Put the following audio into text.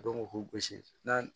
Dɔnku k'u gosi n'a